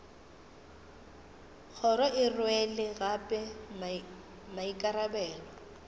kgoro e rwele gape maikarabelo